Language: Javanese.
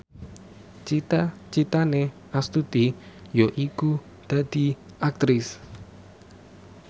cita citane Astuti yaiku dadi Aktris